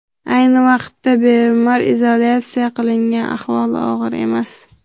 Ayni vaqtida bemor izolyatsiya qilingan, ahvoli og‘ir emas.